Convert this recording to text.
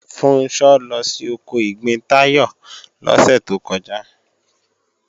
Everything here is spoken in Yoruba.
Funṣọ́ lọ sí oko ìgbín Táyọ̀ lọ́sẹ̀ tó kọjá